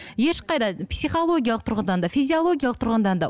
ешқайда психологиялық тұрғыдан да физиологиялық тұрғыдан да